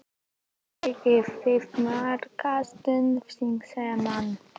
Eigið þið marga stuðningsmenn?